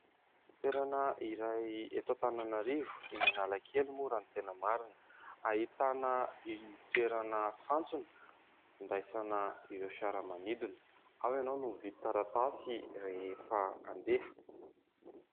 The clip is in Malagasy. Toerana iray eto Antananarivo eny Analakely moa raha ny tena marina, ahitana ny toerana fantsona andraisana ireo fiaramanidina, ao ianao no mividy taratasy rehefa handeha.